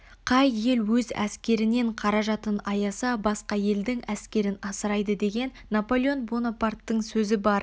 қай ел өз әскерінен қаражатын аяса басқа елдің әскерін асырайды деген наполеон бонапарттың сөзі бар